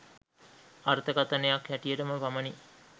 අර්ථකථනයක් හැටියටම පමණි